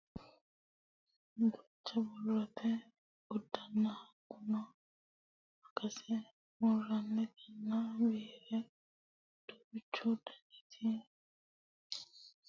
duucha borrote uduunne hattono maqase murrannitanna biirra duuchu danita qalame hattono addi addire mittu fanu borsi giddo worre heee'noonite yaate